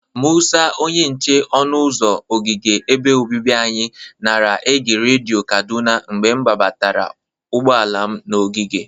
Mụsa, onye nche ọnụ ụzọ ogige ebe obibi anyị, nara ege redio Kaduna mgbe gbabatara ụgbọala m n'ogige.